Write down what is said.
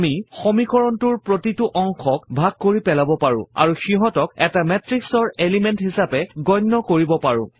আমি সমীকৰণটোৰ প্ৰতিটো অংশক ভাগ কৰি পেলাব পাৰো আৰু সিহঁতক এটা মেত্ৰিক্সৰ এলিমেণ্ট হিছাপে গন্য কৰিব পাৰো